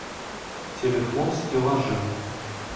телефон стеллажи